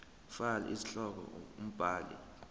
fal isihloko umbhali